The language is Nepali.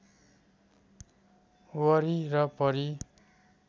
वरि र परि